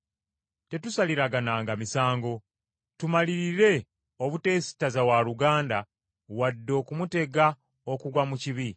Noolwekyo tetusaliragananga misango. Tumalirire obuteesittaza waluganda wadde okumutega okugwa mu kibi.